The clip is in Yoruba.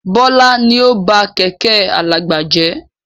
Bọlá ni ó ba Kẹ̀kẹ́ alàgbà jẹ́